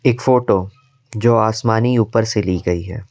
एक फोटो जो आसमानी ऊपर से ली गई है।